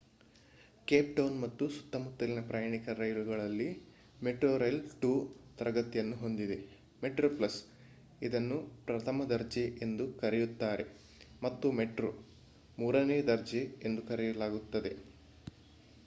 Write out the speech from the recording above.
Cape Town ಮತ್ತು ಸುತ್ತಮುತ್ತಲಿನ ಪ್ರಯಾಣಿಕರ ರೈಲುಗಳಲ್ಲಿ metrorail 2 ತರಗತಿಗಳನ್ನು ಹೊಂದಿದೆ: metroplus ಇದನ್ನು ಪ್ರಥಮ ದರ್ಜೆ ಎಂದೂ ಕರೆಯುತ್ತಾರೆ ಮತ್ತು ಮೆಟ್ರೋ ಮೂರನೇ ದರ್ಜೆ ಎಂದು ಕರೆಯಲಾಗುತ್ತದೆ